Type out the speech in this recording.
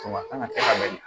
Kuma kan ka kɛ ka bali